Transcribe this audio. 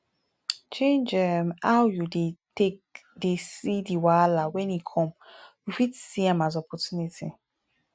change um how you take dey see di wahala when e come you fit see am as opportunity